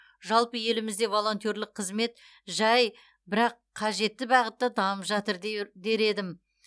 жалпы елімізде волонтерлік қызмет жай бірақ қажетті бағытта дамып жатыр дер едім